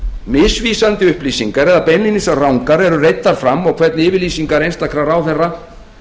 misvísandi upplýsingar eða beinlínis rangar eru reiddar fram og hvernig yfirlýsingar einstakra ráðherra